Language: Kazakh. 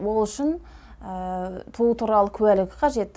ол үшін туу туралы куәлігі қажет